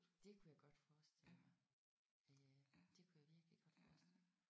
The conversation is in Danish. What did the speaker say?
Det kunne jeg godt forestille mig. Øh det kunne jeg virkelig godt forestille mig